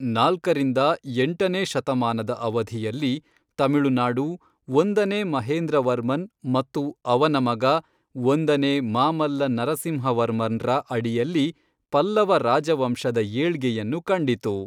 ನಾಲ್ಕರಿಂದ ಎಂಟನೇ ಶತಮಾನದ ಅವಧಿಯಲ್ಲಿ, ತಮಿಳುನಾಡು, ಒಂದನೇ ಮಹೇಂದ್ರವರ್ಮನ್ ಮತ್ತು ಅವನ ಮಗ ಒಂದನೇ ಮಾಮಲ್ಲ ನರಸಿಂಹವರ್ಮನ್ರ ಅಡಿಯಲ್ಲಿ ಪಲ್ಲವ ರಾಜವಂಶದ ಏಳ್ಗೆಯನ್ನು ಕಂಡಿತು.